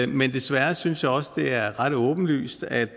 men desværre synes jeg også at det er ret åbenlyst at